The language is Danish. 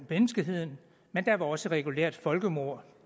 menneskeheden men også et regulært folkemord